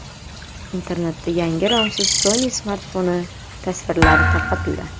Internetda yangi romsiz Sony smartfoni tasvirlari tarqaldi .